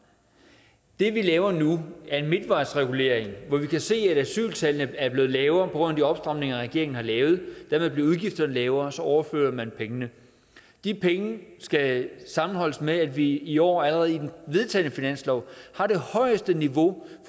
det vi laver nu er en midtvejsregulering hvor vi kan se at asyltallene er blevet lavere på grund af de opstramninger regeringen har lavet dermed bliver udgifterne lavere og så overfører man pengene de penge skal sammenholdes med at vi i år allerede i den vedtagne finanslov har det højeste niveau